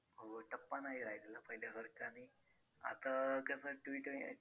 हो टप्पा नाही राहिलेला पहिल्यासारखा आणि आता कसं